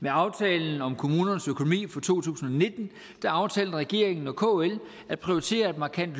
med aftalen om kommunernes økonomi for to tusind og nitten aftalte regeringen og kl at prioritere et markant